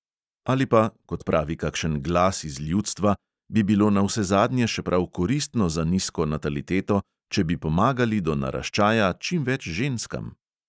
Ali pa – kot pravi kakšen glas iz ljudstva – bi bilo navsezadnje še prav koristno za nizko nataliteto, če bi pomagali do naraščaja čim več ženskam?